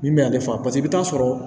Min bɛ ale faga paseke i bi taa sɔrɔ